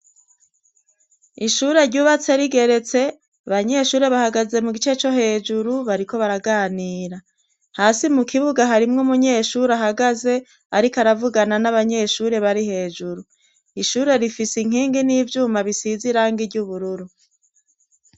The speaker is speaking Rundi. ishure ryubatse rigeretse abanyeshure bahagaze mugice co hejuru bariko baraganira hasi mu kibuga harimwe munyeshuri ahagaze ariko aravugana n'abanyeshure barihejuru ishure rifise inkingi n'ivyuma bisize irange iry'ubururu